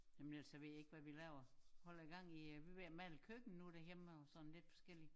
Jamen ellers så ved jeg ikke hvad vi laver holder gang i vi er ved at lave køkken nu derhjemme og sådan lidt forskelligt